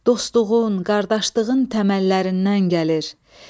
Dostluğun, qardaşlığın təməllərindən gəlir.